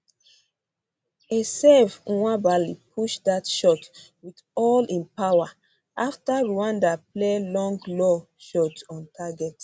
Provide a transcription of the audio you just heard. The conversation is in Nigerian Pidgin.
a serve nwabali push dat shot wit all im power afta rwanda play long low shot on target